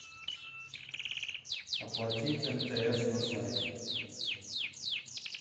оплатить мтс на сайте